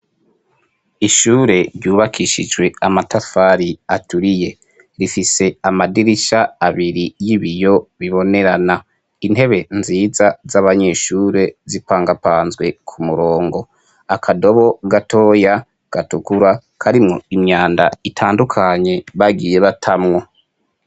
ishure ryubakishijwe amatafari aturiye rifise amadirisha abiri y'ibiyo bibonerana intebe nziza z'abanyeshure zipangapanzwe ku murongo akadobo gatoya gatukura karimwo imyanda itandukanye bagiye batamwo